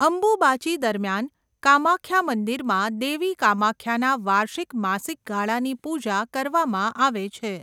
અંબુબાચી દરમિયાન કામાખ્યા મંદિરમાં દેવી કામાખ્યાના વાર્ષિક માસિક ગાળાની પૂજા કરવામાં આવે છે.